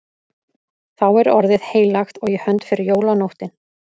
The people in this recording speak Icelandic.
Þá er orðið heilagt og í hönd fer jólanóttin.